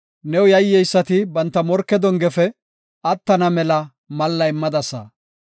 New yayyeysati banta morke dongefe attana mela malla immadasa. Salaha